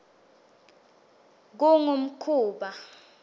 kungumkhuba